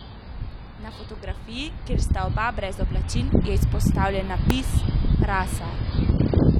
Na fotografiji, kjer sta oba brez oblačil, je izpostavljen napis: "Rasa.